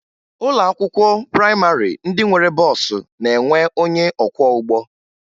Ụlọ akwụkwọ prayịmarị ndị nwere bọọsụ na-enwe onye ọkwọụgbọ